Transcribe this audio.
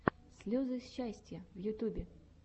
слезы счастья в ютьюбе